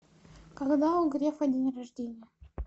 когда у грефа день рождения